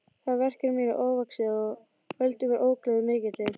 Það verk er mér ofvaxið og veldur mér ógleði mikilli.